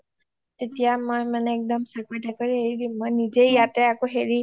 তেতিয়া মই মানে একদম চাকৰি তকৰি এৰি দিম মই নিজেই ইয়াতে আকৌ হেৰি